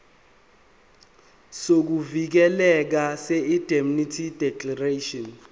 sokuvikeleka seindemnity declaration